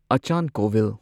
ꯑꯆꯥꯟ Kovil